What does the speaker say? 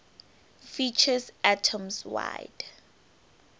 features atoms wide